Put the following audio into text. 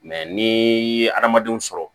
Mɛ ni ye hadamadenw sɔrɔ